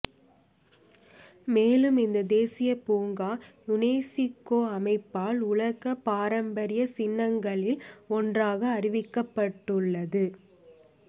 மேலும் இந்த தேசியப் பூங்கா யுனெசுகோ அமைப்பால் உலகப்பாரம்பரியச் சின்னங்களில் ஒன்றாக அறிவிக்கப்பட்டுள்ளது